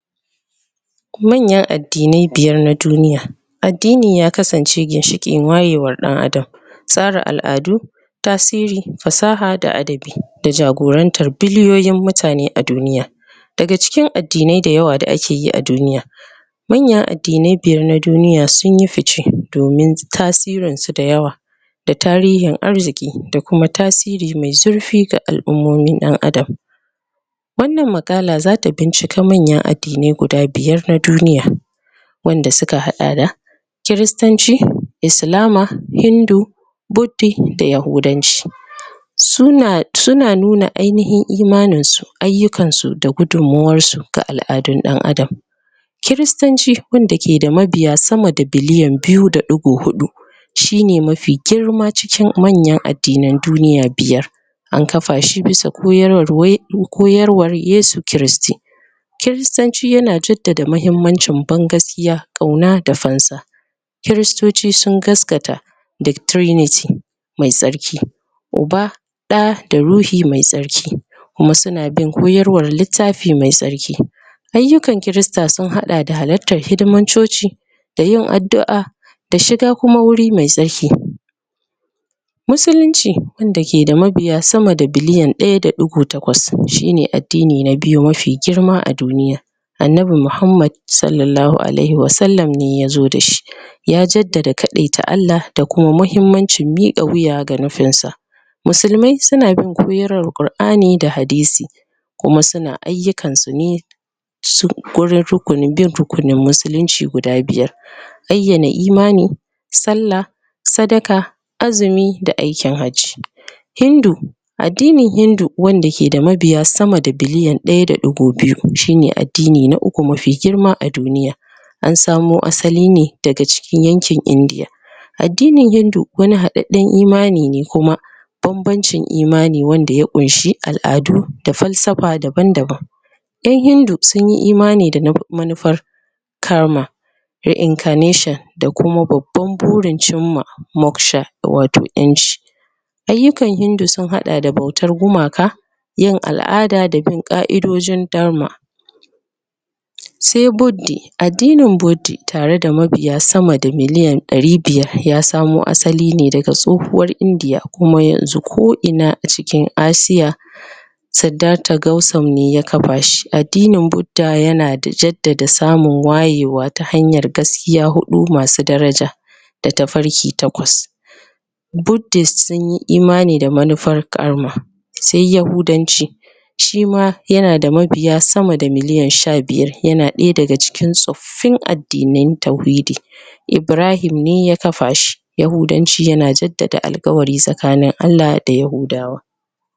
Manyan addinai biyar na duniya Addini ya kasance ginshikin wayewar ɗan Adam Tsara al'adu, fasaha da adabi da jagorantan biliyoyin mutane a duniya daga cikin addinai da yawa da akeyi a duniya manyan addinai biyar na duniya sunyi fishe domin tasirin su da yawa da tarihin arziki da kuma tasiri mai zurfi ga al'umomin ɗan Adam wannan maƙala zata bincike manyan addinai na duniya wanda suka haɗa da Kiristanci, Islama, Hindu, Buddi, da Yahudanci Suna nuna ainihin imanin su, ayyukan su da gudummawar su ga al'adun ɗan Adam Kiristanci wanda ke da mabiya sama da biliyan biyu da ɗigo huɗu shine mafi girma cikin manyan addinan duniya biyar an kafa shi bisa koyarwa Yesu Kiristi Kiristanci yana jaddada mahimmancin ban gaskiya, ƙauna da fansa kiristoci sun gaskata da triniti mai tsarki uba, ɗa da ruhi mai tsarki kuma suna bin koyarwan littafi mai tsarki ayyukan kirista sun haɗa da halartan hidimomin coci da yin addu'a da shiga kuma guri mai tsarki Musulunci wanda ke da mabiya sama da biliyan ɗaya da ɗigo takwas shine addini na biyu mafi girma a duniya Annabi Muhammad S.A.W ne yazo da shi ya jaddada kaɗaita Allah da kuma muhimmancin miƙa wuya ga nufin sa Musulmai suna bin koyarwan Qur'ani da Hadisi kuma suna ayyukan su ne gurin bin rukunin musulunci guda biyar Bayyana imani, sallah, sadaka, azumi, da aikin hajji. Hindu addinin hindu wanda ke da mabiya sama da biliyan ɗaya da ɗigo biyu shine addini na uku mafi girma a duniya an samo asali ne daga cikin yankin indiya Addinin hindu wani haɗaɗɗen imani ne kuma banbancin imani wanda ya ƙunshi al'adu, da fansafa daban-daban ƴan hindu sunyi imani da manufar karma da incarnation da kuma babban burin cimma moksha wato ƴanci ayyukan hindu sun haɗa da bautan gumaka, yin al'ada da bin ƙa'idodin darma Sai Buddi, addinin buddi tana tare da mabiya sama da ɗari biyar wanda ya samo asali ne tsohuwar Indiya kuma yanzu ko ina a cikin Asia Siddata Gausam ne ya kafa shi. Addinin Budda yana jaddada samun wayewa ta hanyar gaskiya huɗu masu daraja da tafarki takwas Buddist sunyi imani da manufar Karma. Sai Yahudanci shima yanada mabiya sama da miliyan sha biyar. Yana ɗaya daga cikin tsoffin addinan tauhidi Ibrahim ne ya kafa shi. Yahudanci yana jaddada alƙawari tsakanin Allah da yahudawa.